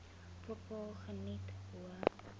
bepaal geniet hoë